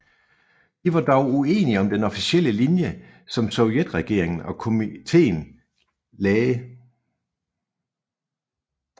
De var dog uenige om den officielle linje som sovjetregeringen og Komintern lagde